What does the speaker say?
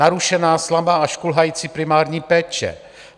Narušená, slabá až kulhající primární péče.